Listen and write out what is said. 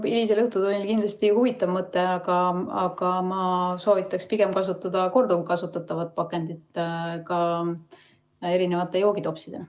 No hilisel õhtutunnil kindlasti huvitav mõte, aga ma soovitaks pigem kasutada korduvkasutatavat pakendit ka joogitopsidena.